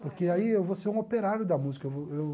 Porque aí eu vou ser um operário da música eu vou eu